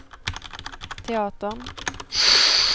teatern